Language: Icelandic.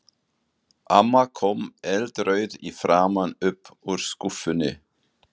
Amma kom eldrauð í framan upp úr skúffunni.